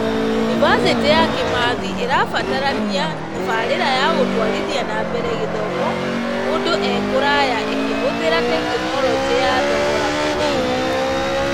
Yunibacĩtĩ ya Kĩmathi ĩratabania tabarĩra ya gũtũarithia nambere gĩthoma mũndũ e-kũraya ĩkĩhũthĩra tekinoronjĩ ya thogora mũnini.